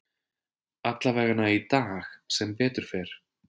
Allavegana í dag, sem betur fer.